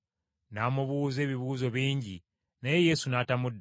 N’amubuuza ebibuuzo bingi, naye Yesu n’atamuddamu.